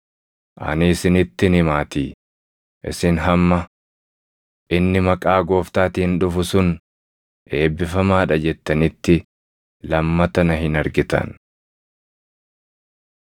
Ani isinittin himaatii; isin hamma, ‘Inni maqaa Gooftaatiin dhufu sun eebbifamaa dha’ jettanitti lammata na hin argitan.”